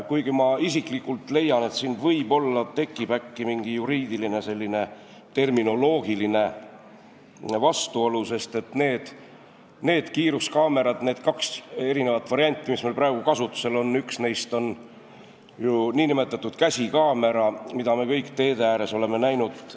Kuigi ma isiklikult leian, et siin võib-olla tekib mingi juriidiline või terminoloogiline vastuolu, sest nendest kahest kiiruskaamerate variandist, mis meil praegu kasutusel on, on üks ju nn käsikaamera, mida me kõik teede ääres oleme näinud.